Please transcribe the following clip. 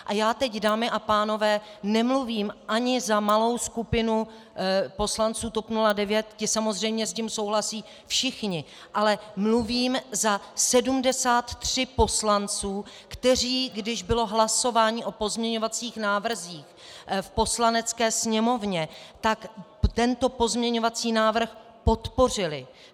A já teď, dámy a pánové, nemluvím ani za malou skupinu poslanců TOP 09, ti samozřejmě s tím souhlasí všichni, ale mluvím za 73 poslanců, kteří, když bylo hlasování o pozměňovacích návrzích v Poslanecké sněmovně, tak tento pozměňovací návrh podpořili.